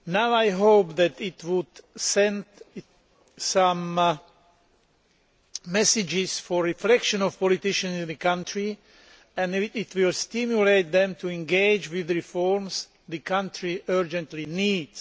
I hope that it will send a message for reflection to the politicians in the country and it will stimulate them to engage with the reforms which the country urgently needs.